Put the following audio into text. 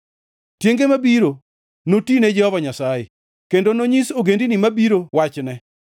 Tienge mabiro noti ne Jehova Nyasaye, kendo nonyis ogendini mabiro wachne.